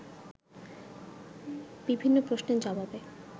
বিভিন্ন প্রশ্নের জবাবে